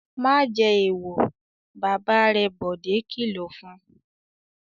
"Má jẹ èèwọ̀!" Bàbá rẹ̀ Bọ̀dé kìlọ̀ fún un.